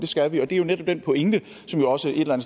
skal vi og det er netop den pointe som også et eller